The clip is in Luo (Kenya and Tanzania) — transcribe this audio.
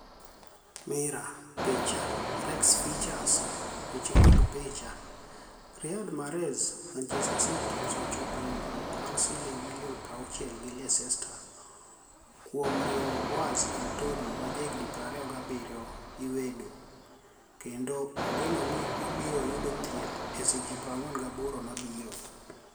(Mirror) Picha, Rex Features Weche mag picha, Riyad Mahrez Manichester City osechopo e winijruok mar silinig milioni 60 gi Leicester kuom riwo Boaz Anitoni ma jahignii 27 lwedo, kenido igeno nii obiro yudo thieth e seche 48 mabiro.